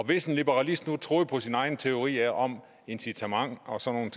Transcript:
hvis en liberalist nu troede på sine egne teorier om incitament og sådan